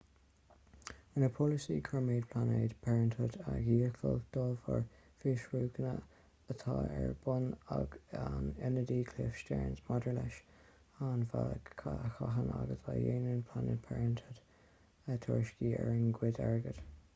rinne polasaí kormen planned parenthood a dhícháiliú de bharr fiosrúcháin atá ar bun ag an ionadaí cliff stearns maidir leis ar an bhealach a chaitheann agus a dhéanann planned parenthood tuairisciú ar a gcuid airgead